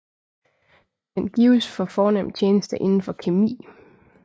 Den gives for fornem tjeneste inden for kemi